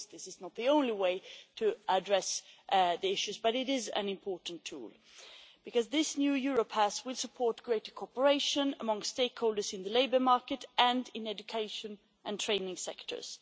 This is not the only way to address the issues, but it is an important tool. Because this new Europass will support greater cooperation among stakeholders in the labour market and in the education and training sectors.